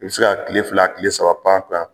I be se ka kile fila kile saba pan a kun na